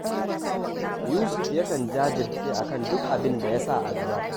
Yusuf yakan jajirce a kan duk abin da ya sa a gaba